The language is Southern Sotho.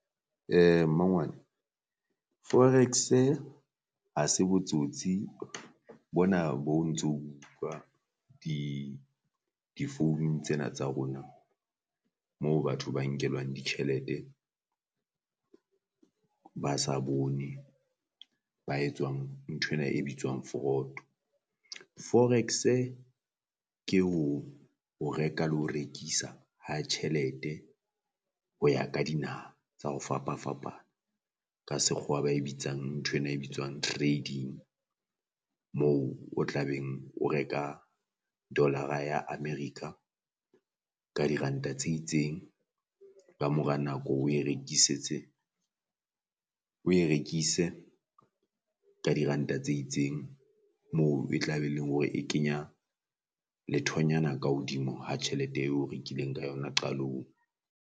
Mmangwane Forex-e ha se botsotsi bona bo ntso o bo utlwa difounung tsena tsa rona moo batho ba nkelwang ditjhelete ba sa bone ba etswang nthwena e bitswang fraud. Forex-e ke ho o reka le ho rekisa ha tjhelete ho ya ka dinaha tsa ho fapafapa ka sekgowa ba e bitsang nthwena e bitswang trading, moo o tla beng o reka dolara ya America ka diranta tse itseng. Kamora nako o e rekisetse o e rekise ka diranta tse itseng moo e tla be e leng hore e kenya lethonyana ka hodimo ha tjhelete eo rekileng ka yona qalong.